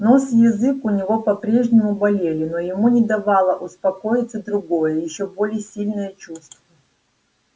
нос и язык у него по прежнему болели но ему не давало успокоиться другое ещё более сильное чувство